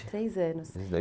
Três anos.